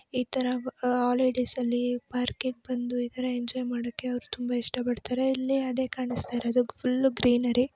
ಇತರ ಹಾಲಿಡೇಸ್ ನಲ್ಲಿ ಪಾರ್ಕ್ಗೆ ಗೆ ಬಂದು ಈತರ ಎಂಜಾಯ್ ಮಾಡೋಕೆ ತುಂಬಾ ಇಷ್ಟಪಡುತ್ತಾರೆ ಇಲ್ಲಿ ಅದೇ ಕಾಣಿಸ್ತಿರೋದು ಫುಲ್ಲು ಗ್ರೀನರಿ.